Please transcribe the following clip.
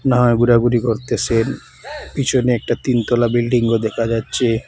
আর ঘোরাঘুরি করতেসেন পিছনে একটা তিনতলা বিল্ডিংও দেখা যাচ্ছে।